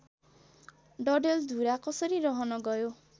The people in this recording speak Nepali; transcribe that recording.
डडेलधुरा कसरी रहन गयो